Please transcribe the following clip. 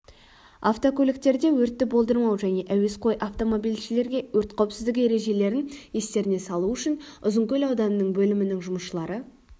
автокөліктерде өртті болдырмау және әуесқой автомобильшілерге өрт қауіпсіздігі ережелерін естеріне салу үшін ұзынкөл ауданының бөлімінің жұмысшылары